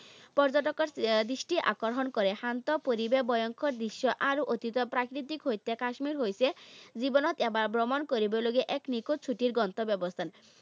পৰ্যটকৰ আহ দৃষ্টি আকৰ্ষণ কৰে। শান্ত পৰিৱেশ, ভয়ংকৰ দৃশ্য আৰু অতিকৈ প্ৰাকৃতিক সৈতে কাশ্মীৰ হৈছে জীৱনত এবাৰ ভ্ৰমণ কৰিবলগীয়া এক নিখুত ছুটীৰ গন্তব্যস্থান।